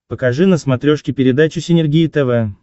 покажи на смотрешке передачу синергия тв